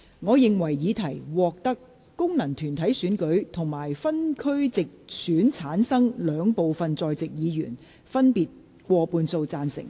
我認為議題獲得經由功能團體選舉產生及分區直接選舉產生的兩部分在席議員，分別以過半數贊成。